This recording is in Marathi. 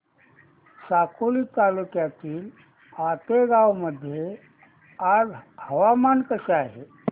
साकोली तालुक्यातील आतेगाव मध्ये आज हवामान कसे आहे